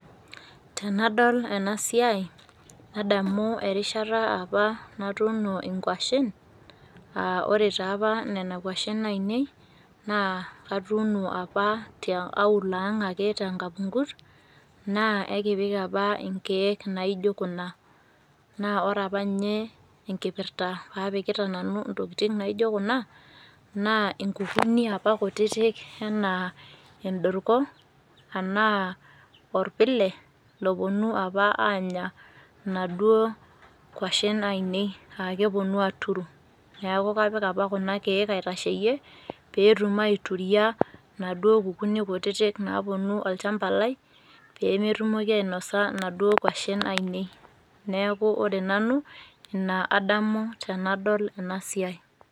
Tenadol enasiai nadamu erishata apa natuuno inkuashin. Aah ore taapa nena kuashin ainei naa atuuno apa te aulo ang' ake tenkapungut naa aikipik apa inkeek naijo kuna. Naa oreapa ninye enkipirta paapikita nanu intokitin naijo kuna, naa inkukuni apa kutitik enaa endorko anaa orpile lopuonu apa aanya naduo kuashin ainei aakepuonu aaturu. Neaku kapik apa kuna keek aitasheyie peetum aituria naduo kukunik kutitik naapuonu olchamba lai peemetumoki ainosa naduo kuashin ainei. Neaku ore nanu ina adamu tenadol enasiai.